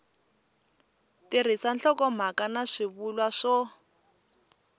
tirhisa nhlokomhaka na swivulwa swo